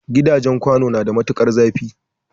Gidajen kwano na da matukar zafi